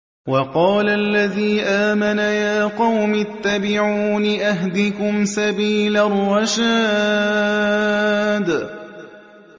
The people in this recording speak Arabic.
وَقَالَ الَّذِي آمَنَ يَا قَوْمِ اتَّبِعُونِ أَهْدِكُمْ سَبِيلَ الرَّشَادِ